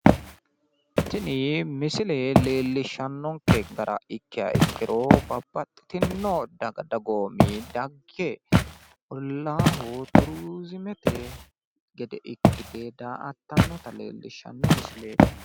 Tini misile leellishshannonke gara ikkiha ikkiro babbaxxitino daga dagoomi dagge ollaaho turizimete gede ikkite daa''attanno leellishshanno misileeti.